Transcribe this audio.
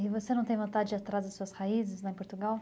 E você não tem vontade de ir atrás das suas raízes lá em Portugal?